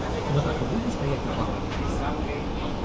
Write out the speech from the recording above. мы так и будем стоять на пороге